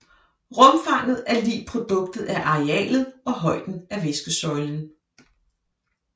Rumfanget er lig produktet af arealet og højden af væskesøjlen